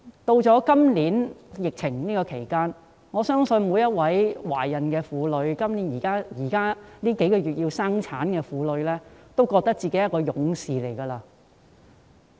面對今年的疫情，我相信所有懷孕婦女及即將在這數月生產的婦女均認為自己是勇士。